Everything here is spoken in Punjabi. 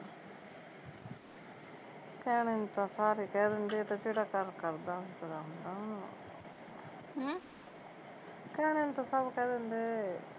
ਕਹਿਣੇ ਨੂੰ ਤਾਂ ਸਾਰੇ ਕਹਿ ਦਿੰਦੇ ਏਹ ਤਾਂ ਜਿਹੜਾ ਕਰਦਾ ਉਹਨੂੰ ਪਤਾ ਹੁੰਦਾ ਉਹਨੂੰ ਹਮ ਕਹਿਣੇ ਨੂੰ ਤਾਂ ਸਭ ਕਹਿ ਦਿੰਦੇ